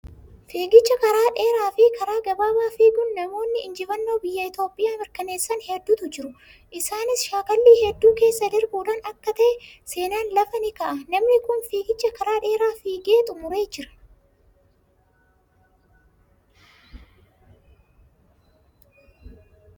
Fiigicha karaa dheeraa fi karaa gabaabaa fiiguun namoonni injifannoo biyya Itoophiyaa mirkaneessan hedduutu jiru. Isaanis shaakallii hedduu keessa darbuudhaan akka ta'e, seenaan lafa ni kaa'a. Namni kun fiigicha karaa dheeraa fiigee xumuree jira.